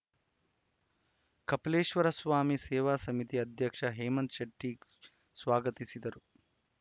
ಕಪಿಲೇಶ್ವರ ಸ್ವಾಮಿ ಸೇವಾ ಸಮಿತಿ ಅಧ್ಯಕ್ಷ ಹೇಮಂತ್‌ ಶೆಟ್ಟಿಸ್ವಾಗತಿಸಿದರು